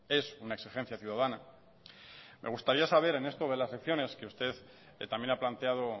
es una exigencia ciudadana me gustaría saber en esto de las elecciones que usted también ha planteado